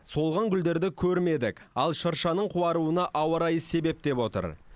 солған гүлдерді көрмедік ал шыршаның қуаруына ауа райы себеп деп отыр